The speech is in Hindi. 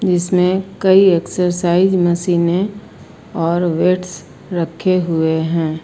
जिसमें कई एक्सरसाइज मशीने है और वेट्स रखे हुए हैं।